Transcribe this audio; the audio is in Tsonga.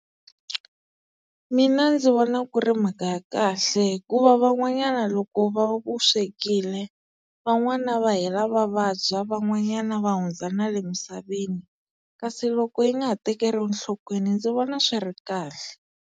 Mina ndzi vona ku ri mhaka ya kahle hikuva van'wanyana loko va vu swekile van'wana va hela va vabya van'wanyana va hundza na le misaveni kasi loko yi nga ha tekeriwi enhlokweni ndzi vona swi ri kahle.